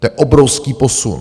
To je obrovský posun.